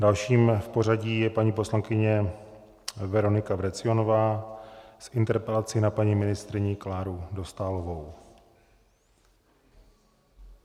Dalším v pořadí je paní poslankyně Veronika Vrecionová s interpelací na paní ministryni Kláru Dostálovou.